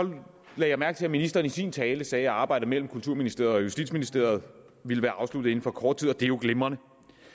lagde jeg mærke til at ministeren i sin tale sagde at arbejdet mellem kulturministeriet og justitsministeriet ville være afsluttet inden for kort tid og det er jo glimrende